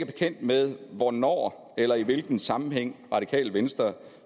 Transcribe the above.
bekendt med hvornår eller i hvilken sammenhæng radikale venstre